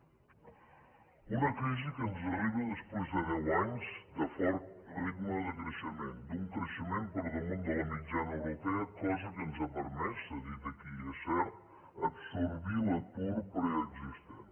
una crisi que ens arriba després de deu anys de fort ritme de creixement d’un creixement per damunt de la mitjana europea cosa que ens ha permès s’ha dit aquí i és cert absorbir l’atur preexistent